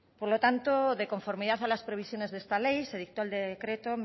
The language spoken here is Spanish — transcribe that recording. por lo tanto de conformidad a las previsiones de esta ley se dictó el decreto